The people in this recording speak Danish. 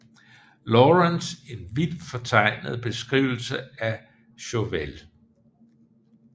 Lawrence en vildt fortegnet beskrivelse af Chauvel